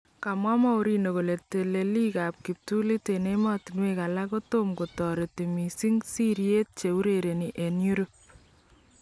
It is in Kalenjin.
Kamwa Mourinho kole teleliik ab kiptulit en emotunwek alak kotam ko tareti missing sirityeet cheurereni en Europe